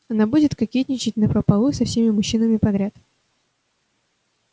она будет кокетничать напропалую со всеми мужчинами подряд